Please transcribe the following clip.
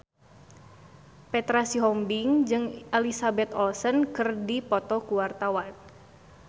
Petra Sihombing jeung Elizabeth Olsen keur dipoto ku wartawan